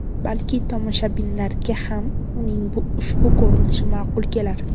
Balki tomoshabinlarga ham uning ushbu ko‘rinishi ma’qul kelar.